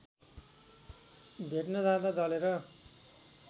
भेट्न जाँदा जलेर